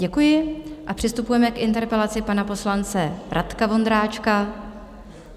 Děkuji a přistupujeme k interpelaci pana poslance Radka Vondráčka.